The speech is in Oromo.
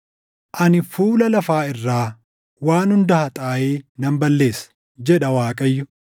“Ani fuula lafaa irraa waan hunda haxaaʼee nan balleessa” jedha Waaqayyo.